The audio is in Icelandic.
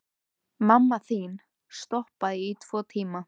Mamma þín stoppaði í tvo tíma.